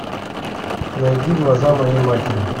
найди глаза моей матери